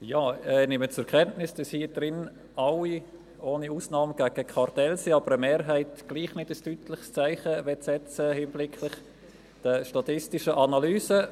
Ich nehme zur Kenntnis, dass hier im Saal alle, ohne Ausnahme, gegen Kartelle sind, aber eine Mehrheit doch nicht ein deutliches Zeichen setzten möchte in Hinblick auf die statistischen Analysen.